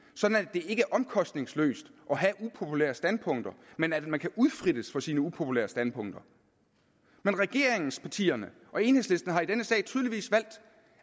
ikke er omkostningsløst at have upopulære standpunkter men at man kan blive udfrittet for sine upopulære standpunkter men regeringspartierne og enhedslisten har i denne sag tydeligvis valgt